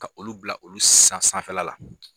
Ka olu bila olu sanfɛla la